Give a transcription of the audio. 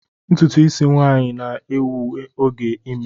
Ntutu isi nwanyi na-ewe oge ime